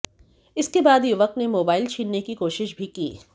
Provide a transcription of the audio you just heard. इसके बाद युवक ने मोबाइल छीनने की कोशिश भी की